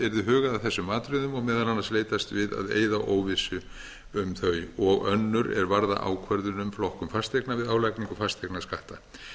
hugað að þessum atriðum og meðal annars leitast við að eyða óvissu um þau og önnur er varða ákvörðun um flokkun fasteigna við álagningu fasteignaskatta